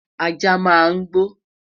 ajá máa ń gbo